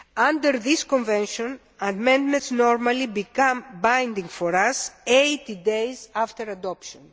Under this convention, amendments normally become binding for us 80 days after adoption.